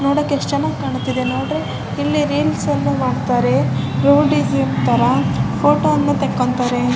ನೋಡೋಕೆ ಎಸ್ಟ್ ಚೆನ್ನಾಗಿ ಕಾಣ್ತಾಯಿದೆ ನೋಡಿ ಇಲ್ಲಿ ರೀಲ್ಸ್ ಅನ್ನು ಮಾಡ್ತಾರೆ ತರ ಫೋಟೋವನ್ನು ತೆಕ್ಕೊಂತಾರೆ.